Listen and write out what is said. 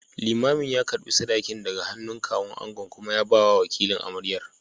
Limamin ya karɓi sadakin daga hannun Kawun angon kuma ya bawa wakilin amaryar.